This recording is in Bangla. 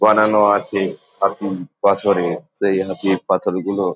বানানো আছে এখন বছরে সেজন্য পাথর গুলো --